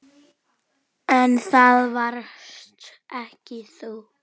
En það varst ekki þú.